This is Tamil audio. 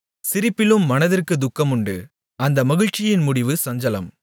சிரிப்பிலும் மனதிற்குத் துக்கமுண்டு அந்த மகிழ்ச்சியின் முடிவு சஞ்சலம்